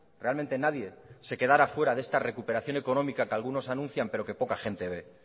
realmente nadie se quedara fuera de esta recuperación económica que algunos anuncian pero que poca gente ve